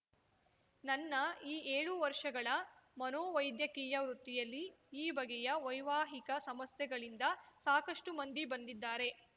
ನನ್ನ ಈ ಏಳು ವರ್ಷಗಳ ಮನೋವೈದ್ಯಕೀಯ ವೃತ್ತಿಯಲ್ಲಿ ಈ ಬಗೆಯ ವೈವಾಹಿಕ ಸಮಸ್ಯೆಗಳಿಂದ ಸಾಕಷ್ಟುಮಂದಿ ಬಂದಿದ್ದಾರೆ